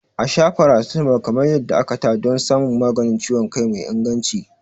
A sha paracetamol kamar yadda aka ta don samun maganin ciwon kai mai inganci.